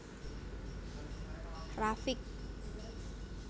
Rafiq